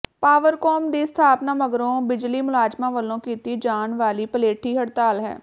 Powercom ਦੀ ਸਥਾਪਨਾ ਮਗਰੋਂ ਬਿਜਲੀ ਮੁਲਾਜ਼ਮਾਂ ਵੱਲੋਂ ਕੀਤੀ ਜਾਣ ਵਾਲੀ ਪਲੇਠੀ ਹੜਤਾਲ ਹੈ